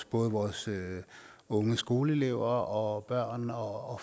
både vores unge skoleelever og børn og